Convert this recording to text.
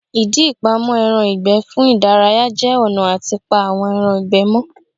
Ìdí ìpamọ́ ẹran ìgbẹ́ fún ìdárayá jẹ́ ọ̀nà àti pa àwọn ẹran ìgbẹ́ mọ́